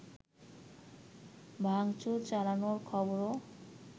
ভাংচুর চালানোর খবরও